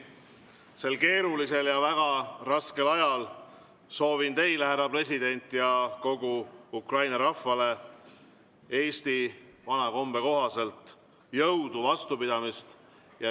Sel keerulisel ja väga raskel ajal soovin teile, härra president, ja kogu Ukraina rahvale eesti vana kombe kohaselt jõudu ja vastupidamist.